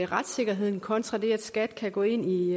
retssikkerheden kontra det at skat kan gå ind i